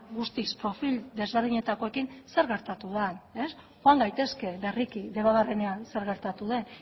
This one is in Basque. guztiz profil ezberdinetakoekin zer gertatu den joan gaitezke berriki debabarrenean zer gertatu den